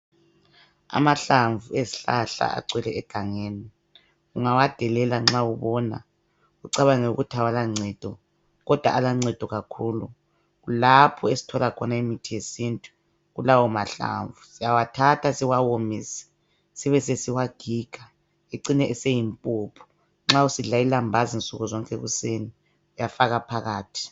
Amahlamvu ezihlahla agcwele egangeni ungawadelela nxa ubona ucabange ukuthi awala ncedo kodwa aloncedo kakhulu kulapho esithola khona imithi yesintu kulawo mahlamvu siyawathatha siwawomise sibesesiwagiga ecine eseyimpuphu nxa usidla ilambazi nsukuzonke ekuseni uyafaka phakathi.